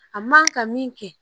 A man ka min kɛ